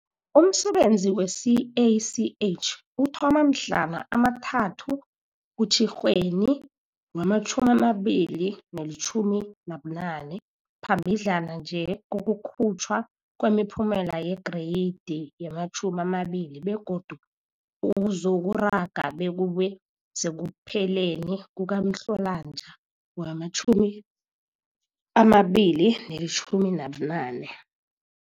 Umsebenzi we-CACH uthoma mhlana ama-3 kuTjhirhweni wee-2018, phambidlana nje kokukhutjhwa kwemiphumela yeGreyidi ye-12 begodu uzokuraga bekube sekupheleni kukaMhlolanja wee-2018.